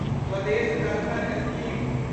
Swadesh Darshan scheme